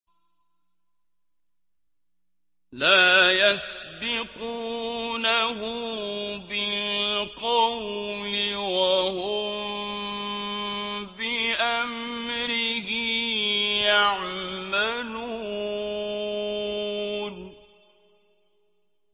لَا يَسْبِقُونَهُ بِالْقَوْلِ وَهُم بِأَمْرِهِ يَعْمَلُونَ